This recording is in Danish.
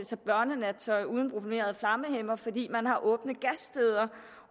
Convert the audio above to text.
sig børnenattøj uden bromerede flammehæmmere fordi man har åbne gassteder